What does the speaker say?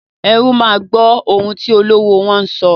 Erú máa gbọ́ ohun tí olówó wọ́n sọ.